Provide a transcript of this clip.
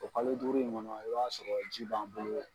O kalo duuru in kɔnɔ i b'a sɔrɔ ji ban bolo